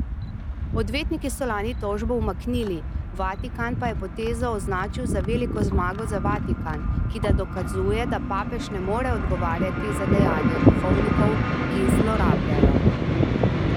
Odvetniki so lani tožbo umaknili, Vatikan pa je potezo označil za veliko zmago za Vatikan, ki da dokazuje, da papež ne more odgovarjati za dejanja duhovnikov, ki zlorabljajo.